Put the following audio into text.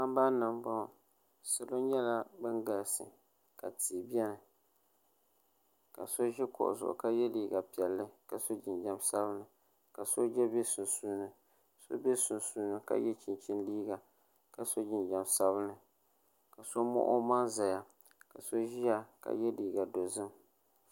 Sambani nbɔŋɔ salo nyɛla ban galisi ka tii bɛni ka so ʒi kuɣu zuɣu ka yɛ liiga piɛli ka so jinjɛm sabinli ka sooja bɛ sunsuuni so bɛ sunsuuni ka yɛ chinchini liiga kaso jinjɛm sabinli ka so mɔɣu o maŋ zaya ka so ʒiɣa ka yɛ liiga dozim.